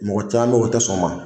Mɔgɔ caman o tɛ sɔn o ma